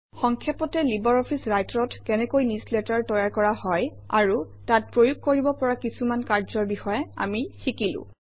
সংক্ষেপতে LibreOffice Writer অত কেনেকৈ newsletter তৈয়াৰ কৰা হয় আৰু তাত প্ৰয়োগ কৰিব পৰা কিছু কাৰ্যৰ বিষয়ে আমি শিকিলো